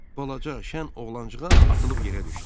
Balaca şən oğlancıq az atılıb yerə düşdü.